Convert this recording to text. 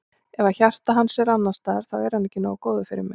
Ef að hjarta hans er annars staðar þá er hann ekki nógu góður fyrir mig.